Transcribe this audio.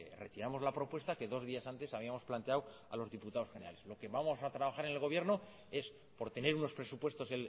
retiramos la propuesta que dos días antes habíamos planteado a los diputados generales lo que vamos a trabajar en el gobierno es por tener unos presupuestos